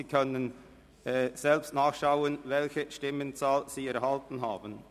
Sie können selber nachschauen, welche Stimmenzahl Sie erhalten haben.